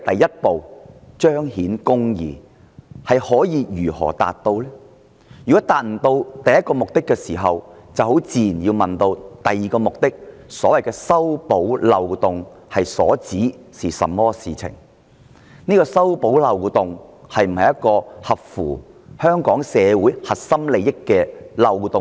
如果無法達到首要目的，我們自然要問第二個目的，即所謂修補漏洞是指甚麼事情？特區政府修補這個漏洞是否合乎香港社會的核心利益？